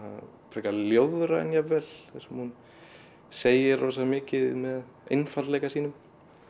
frekar ljóðræn jafnvel þar sem hún segir rosa mikið með einfaldleika sínum